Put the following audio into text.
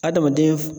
Adamaden